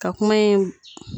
Ka kuma ye.